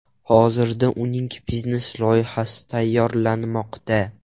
Hozirda uning biznes-loyihasi tayyorlanmoqda.